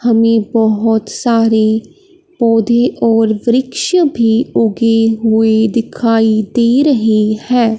हमें बहोत सारे पौधे और वृक्ष भी उगे हुए दिखाई दे रहे हैं।